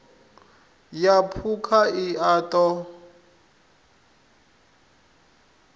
ya phukha i a ṱo